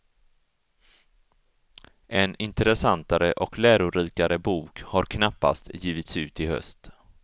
En intressantare och lärorikare bok har knappast givits ut i höst.